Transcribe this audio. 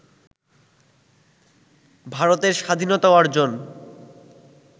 ভারতের স্বাধীনতা অর্জন